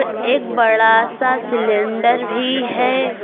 एक बड़ा सा सिलेंडर भी है।